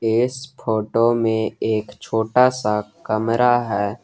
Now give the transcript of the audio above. इस फोटो में एक छोटा सा कमरा है।